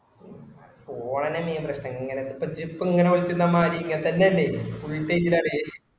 ഓലെന്നെ ഇങ്ങനെ പ്രശനം ഇങ്ങനെ ഇപ്പൊ ഇജ്ജ് ഇപ്പൊ വിളിച്ചിരുന്നമായിരി ഇങ്ങനെത്തന്നെ അല്ലെ full change ൽ അല്ലെ